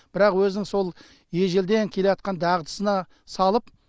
бірақ өзінің сол ежелден келеатқан дағдысына салып